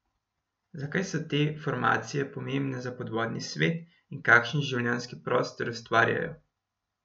Zakaj so te formacije pomembne za podvodni svet in kakšen življenjski prostor ustvarjajo ?